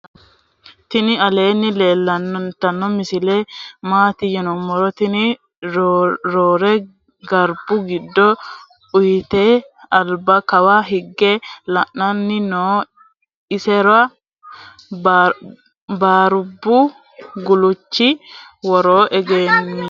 tinni aleni lelyano misile mati yinumoro tini roe garbu gido uutite alba kawa hige la"ani noo. isera barbu guluchi wooro egemino.